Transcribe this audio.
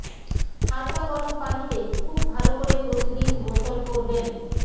হালকা গরম পানিতে খুব ভালো করে প্রতিদিন গোসল করবেন